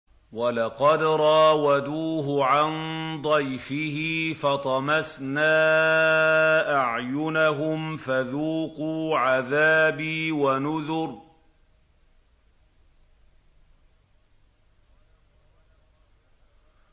وَلَقَدْ رَاوَدُوهُ عَن ضَيْفِهِ فَطَمَسْنَا أَعْيُنَهُمْ فَذُوقُوا عَذَابِي وَنُذُرِ